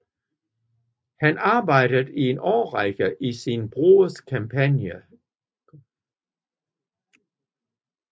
Han arbejdede i en årrække i sin brors kompagni